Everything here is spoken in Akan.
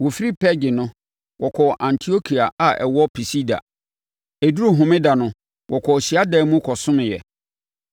Wɔfiri Perge no, wɔkɔɔ Antiokia a ɛwɔ Pisidia. Ɛduruu Homeda no, wɔkɔɔ hyiadan mu kɔsomeeɛ.